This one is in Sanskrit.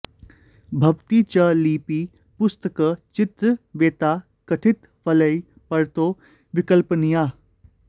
भवति च लिपि पुस्तक चित्र वेत्ता कथित फलैः परतो विकल्पनीयाः